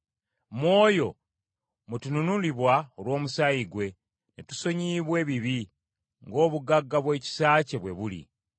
Mu oyo mwe tununulibwa olw’omusaayi gwe, ne tusonyiyibwa ebibi, ng’obugagga bw’ekisa kye bwe buli,